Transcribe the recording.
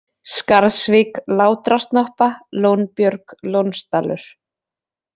Skarðsvík, Látrasnoppa, Lónbjörg, Lónsdalur